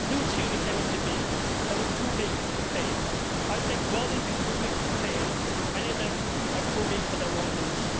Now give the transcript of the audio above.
A new theory came into being they were too big to fail. I think, rather than be too big to fail, many of them are too big for their own boots.